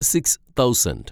six thousand